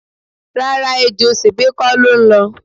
Rárá, ejò sèbé kò ló ń lọ.